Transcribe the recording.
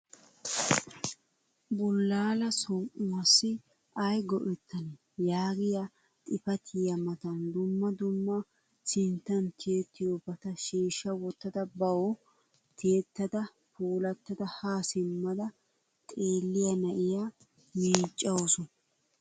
Bullaala som'uwaassi ayi go'ettanee, yaagiya xifatiya matan dumma dumma sinttan tiyettiyoobata shiishsha wottada bawu tiyettada puulattada haa simmada xeelliya na'iya miiccawusu.